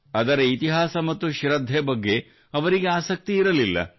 ಅದರ ಇತಿಹಾಸ ಮತ್ತು ಶೃದ್ಧೆ ಬಗ್ಗೆ ಅವರಿಗೆ ಆಸಕ್ತಿ ಇರಲಿಲ್ಲ